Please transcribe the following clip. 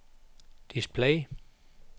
display